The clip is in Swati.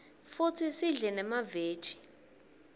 futsi sidle nemaveji